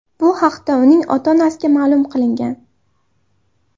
Bu haqda uning ota-onasiga ma’lum qilingan.